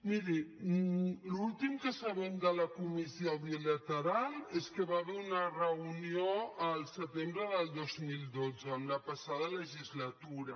miri l’últim que sabem de la comissió bilateral és que va hi va haver una reunió el setembre de dos mil dotze en la passada legislatura